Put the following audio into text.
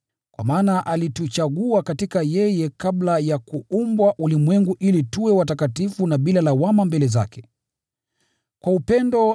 Kwa maana alituchagua katika yeye kabla ya kuumbwa ulimwengu ili tuwe watakatifu na bila lawama mbele zake. Kwa upendo